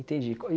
Entendi.